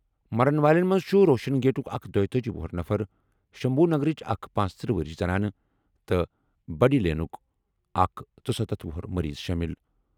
مرن والٮ۪ن منٛز چھُ روشن گیٹُک اکھ دویتأجی وُہُر نفر، شمبھو نگرٕچ اکھ پنژتٔرہ وُہُر زنانہٕ تہٕ بڈی لینُک اکھ ژُسَتتھ وُہُر مٔریٖض شٲمِل۔